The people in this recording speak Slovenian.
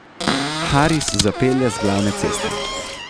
Haris zapelje z glavne ceste.